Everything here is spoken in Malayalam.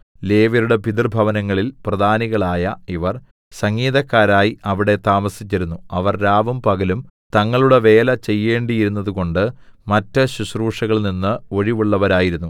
ലേവ്യരുടെ പിതൃഭവനങ്ങളിൽ പ്രധാനികളായ ഇവർ സംഗീതക്കാരായി അവിടെ താമസിച്ചിരുന്നു അവർ രാവും പകലും തങ്ങളുടെ വേല ചെയ്യേണ്ടിയിരുന്നതുകൊണ്ടു മറ്റു ശുശ്രൂഷകളിൽനിന്ന് ഒഴിവുള്ളവരായിരുന്നു